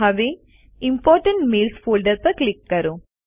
હવે important mails folder પર click કરો